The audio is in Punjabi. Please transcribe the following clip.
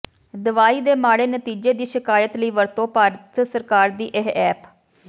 ਦਵਾਈ ਦੇ ਮਾੜੇ ਨਤੀਜੇ ਦੀ ਸ਼ਿਕਾਇਤ ਲਈ ਵਰਤੋਂ ਭਾਰਤ ਸਰਕਾਰ ਦੀ ਇਹ ਐਪ